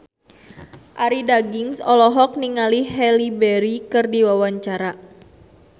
Arie Daginks olohok ningali Halle Berry keur diwawancara